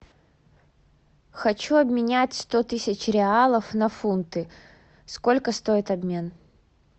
хочу обменять сто тысяч реалов на фунты сколько стоит обмен